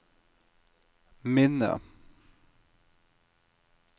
minne